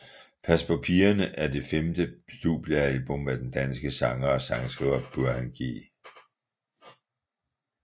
Pas på pigerne er det femte studiealbum af den danske sanger og sangskriver Burhan G